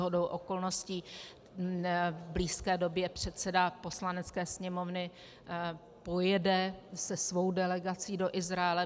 Shodou okolností v blízké době předseda Poslanecké sněmovny pojede se svou delegací do Izraele.